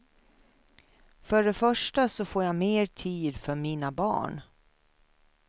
För det första så får jag mer tid för mina barn.